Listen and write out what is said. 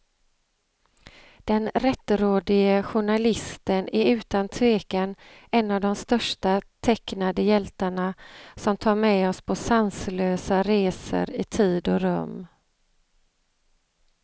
Den rättrådige journalisten är utan tvekan en av de största tecknade hjältarna, som tar med oss på sanslösa resor i tid och rum.